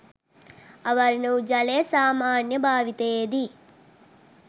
අවර්ණ වූ ජලය සාමාන්‍ය භාවිතයේදී